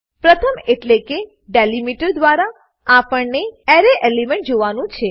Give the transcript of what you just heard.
પ્રથમ એટલેકે જે ડેલીમીટર દ્વારા આપણને એરે એલિમેન્ટ જોડવાનું છે